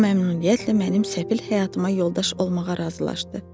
O məmnuniyyətlə mənim səfil həyatıma yoldaş olmağa razılaşdı.